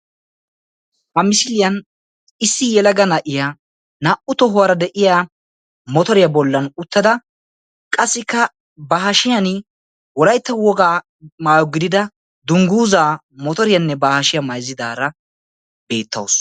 Ha misiliyan issi yelaga na'iya naa''u tohuwara de'iya motoriya bollan uttada qassikka ba hashshiyan Wolaytta woga maayyo gidida dungguza motoriyanne ba hashiya mayssadaara beettawus.